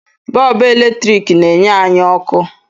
Bọọbụ eletrik n'enye anyị ọkụ